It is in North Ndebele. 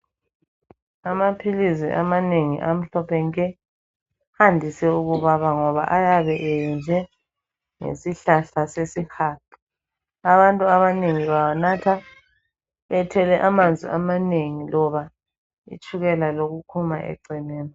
Amaphilizi amanengi amhlophe nke andise ukubaba ngoba ayabe eyenzwe ngesihlahla sesihaqa. Abantu abanengi bawanatha bethwele amanzi amanengi loba itshukela lokukhuma eceleni.